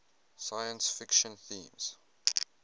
science fiction themes